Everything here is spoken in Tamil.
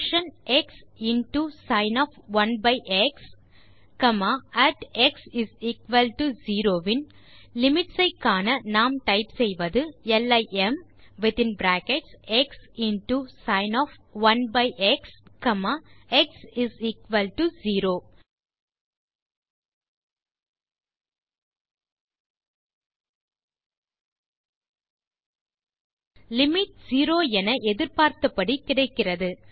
பங்ஷன் எக்ஸ் இன்டோ sin1எக்ஸ் அட் x0 இன் லிமிட் ஐ காண நாம் typeசெய்வது limxsin1எக்ஸ்x0 லிமிட் 0 என எதிர்பார்த்தபடி கிடைக்கிறது